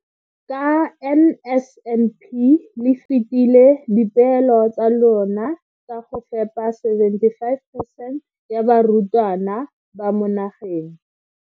Ka NSNP le fetile dipeelo tsa lona tsa go fepa 75 percent ya barutwana ba mo nageng.